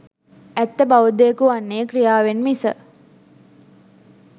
ඇත්ත බෞද්ධයකු වන්නෙ ක්‍රියාවෙන් මිස